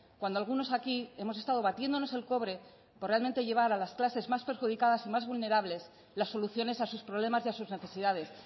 cuando algunos aquí hemos estado batiéndonos el cobre por realmente llevar a las clases más perjudicadas y más vulnerables las soluciones a sus problemas y a sus necesidades